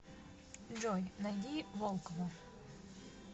джой найди волкова